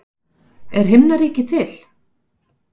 Er himnaríki til?